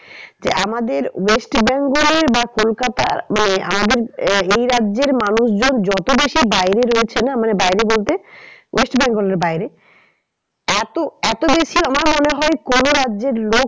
যে আমাদের west bengal এর বা কলকাতার মানে আমাদের এই রাজ্যের মানুষজন যত বেশি বাইরে রয়েছে না মানে বাইরে বলতে west bengal এর বাইরে এতো, এতো বেশি আমার মনে হয় কোনো রাজ্যের লোক